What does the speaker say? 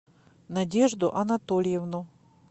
надежду анатольевну